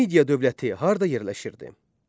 Media dövləti harda yerləşirdi?